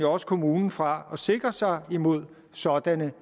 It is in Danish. også kommunen fra at sikre sig imod sådanne